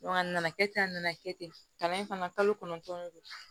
a nana kɛ ten a nana kɛ ten kalan in fana kalo kɔnɔntɔn